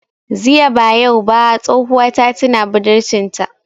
Ziya ba yau ba tsohuwa ta tina budurcin ta